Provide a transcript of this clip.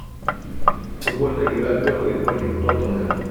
футбольная игра бернли против тоттенхэм